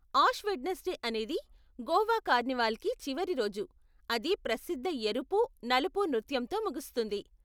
Ash Wednesday అనేది గోవా కార్నివాల్కి చివరి రోజు, అది ప్రసిద్ధ ఎరుపు, నలుపు నృత్యంతో ముగుస్తుంది.